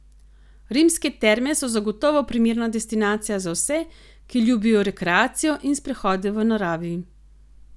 Rimske terme so zagotovo primerna destinacija za vse, ki ljubijo rekreacijo in sprehode v naravi.